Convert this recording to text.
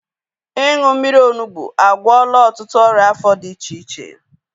Ịṅụ mmiri onugbu agwọla ọtụtụ ọrịa afọ dị iche iche